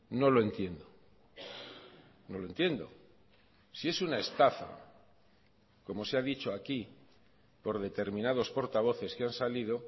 no lo entiendo no lo entiendo si es una estafa como se ha dicho aquí por determinados portavoces que han salido